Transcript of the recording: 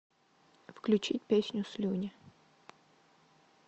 включить песню слюни